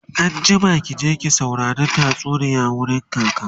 anjima ki je ki saurari tatsuniya wurin kaka!